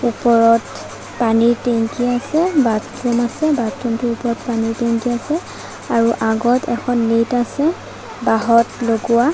ওপৰত পানীৰ টেংকি আছে বাথৰুম আছে বাথৰুটোৰ ওপৰত পানীৰ টেংকি আছে আৰু আগত এখন নেট আছে বাহঁত লগোৱা।